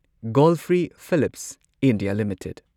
Godfrey Phillips India limited